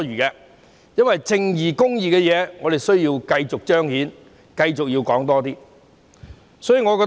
我認為並不多餘，因為我們需要繼續彰顯公義，所以要繼續討論。